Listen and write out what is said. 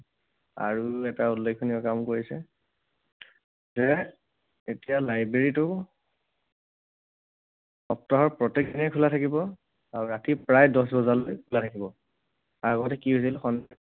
আৰু এটা উল্লেখনীয় কাম কৰিছে। যে এতিয়া library টো সপ্তাহৰ প্ৰত্যেক দিনেই খোলা থাকিব আৰু ৰাতি প্ৰায় দহ বজালৈ খোলা থাকিব। আগতে কি হৈছিল